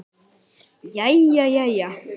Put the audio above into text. Jæja jæja.